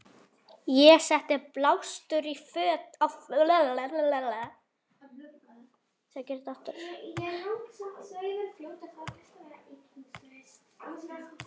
Ég setti blástur á fötin.